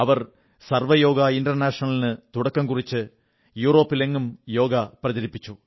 അവർ സർവ്വ യോഗ ഇന്റർനാഷണലിന് തുടക്കം കുറിച്ച് യൂറോപ്പിലെങ്ങും യോഗ പ്രചരിപ്പിച്ചു